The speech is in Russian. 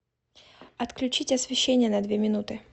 отключить освещение на две минуты